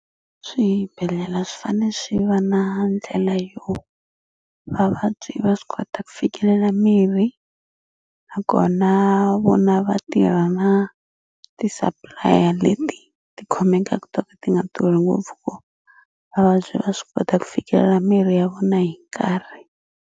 Swibedhlela swi fane swi va na ndlela yo vavabyi va swi kota ku fikelela mirhi nakona vona va tirha na ti-supplier leti ti khomekaku to ka ti nga durhi ngopfu ku vavabyi va swi kota ku fikelela mirhi ya vona hi nkarhi.